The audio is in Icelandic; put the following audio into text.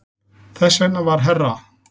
Þess vegna var herra